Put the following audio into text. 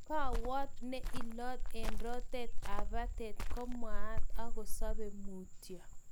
Kawot ne ilot eng rotet ap patet komwan ak kosape mutyo